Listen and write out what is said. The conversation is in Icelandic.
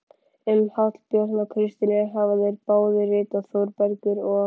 Um Hallbjörn og Kristínu hafa þeir báðir ritað, Þórbergur og